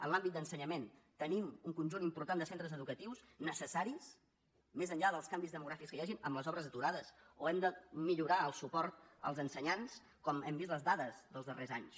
en l’àmbit d’ensenyament tenim un conjunt important de centres educatius necessaris més enllà dels canvis demogràfics que hi hagin amb les obres aturades o hem de millorar el suport als ensenyants com hem vist en les dades dels darrers anys